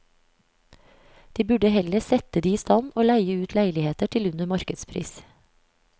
De burde heller sette de i stand og leie ut leiligheter til under markedspris.